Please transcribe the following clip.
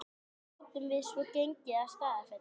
Þaðan gátum við svo gengið að Staðarfelli.